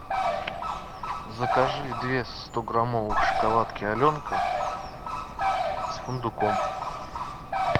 закажи две стограммовых шоколадки аленка с фундуком